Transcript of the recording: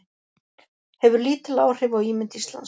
Hefur lítil áhrif á ímynd Íslands